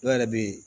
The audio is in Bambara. Dɔw yɛrɛ bɛ yen